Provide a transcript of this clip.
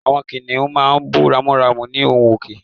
Àwọn kìnìún máa ń bú ramúramù ní ohùn òkè